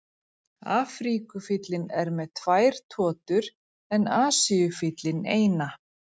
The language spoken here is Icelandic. Afríkufíllinn er með tvær totur en Asíufíllinn eina.